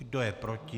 Kdo je proti?